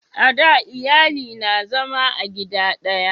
a da iyali na zama a gida daya